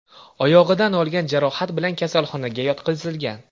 oyog‘idan olgan jarohat bilan kasalxonaga yotqizilgan.